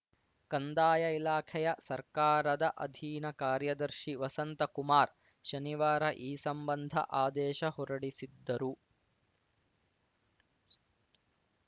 ಕಂದಾಯ ಇಲಾಖೆಯ ಸರ್ಕಾರದ ಅಧೀನ ಕಾರ್ಯದರ್ಶಿ ವಸಂತ ಕುಮಾರ್‌ ಶನಿವಾರ ಈ ಸಂಬಂಧ ಆದೇಶ ಹೊರಡಿಸಿದ್ದರು